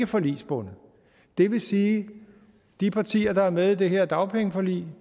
forligsbundet det vil sige at de partier der er med i det her dagpengeforlig